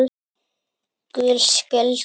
Gul spjöld